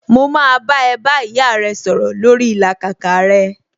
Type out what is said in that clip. Mo máa bá ẹ bá ìyá rẹ sọ̀rọ̀ lórii ìlàkàkà rẹ